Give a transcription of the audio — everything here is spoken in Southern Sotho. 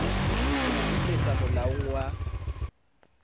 ho mo busetsa moalong wa